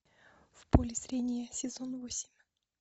в поле зрения сезон восемь